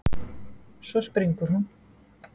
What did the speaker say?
Svo springur hún.